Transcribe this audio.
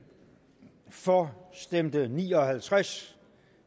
for stemte ni og halvtreds